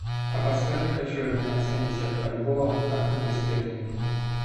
а подскажи хочу обменять семьдесят бальбоа на фунты стерлинги